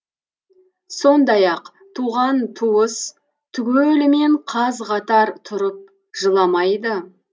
сондаяқ туған туыс түгелімен қаз қатар тұрып жыламайды